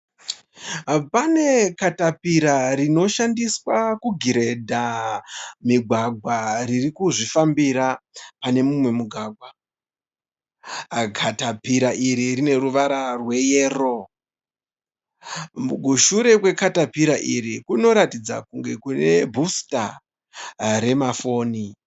Pane katapira rinoshandiswa kugiredha migwagwa riri kuzvifambira pane mumwe mugwagwa. Katapira iri rine ruvara rweyero. Kushure kwegatapira iri kunoratidza kunge kune bhusita remafoni.